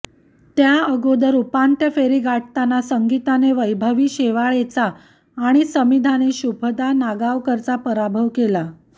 त्या अगोदर उपांत्य फेरी गाठताना संगीताने वैभवी शेवाळेचा आणि समिधाने शुभदा नागावकरचा पराभव केला